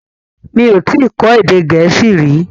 Mi ò tí ì kọ́ èdè Gẹ̀ẹ́sì rí.